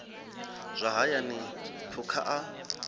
zwa hayani na phukha a